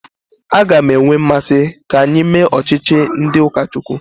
A ga m enwe mmasị ka anyị mee ọchịchị ndị ụka Chukwu.